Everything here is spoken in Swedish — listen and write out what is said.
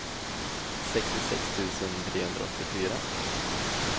sextiosex tusen trehundraåttiofyra